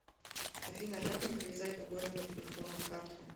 афина как мне привязать другой номер телефона к карте